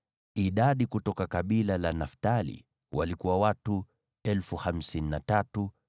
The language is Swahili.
Idadi kutoka kabila la Naftali walikuwa watu 53,400.